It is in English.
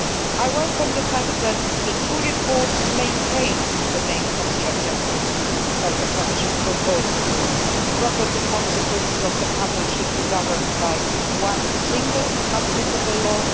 I welcome the fact that the two reports maintain the main policy objectives of the Commission proposal property consequences of the couple should be governed by one single applicable law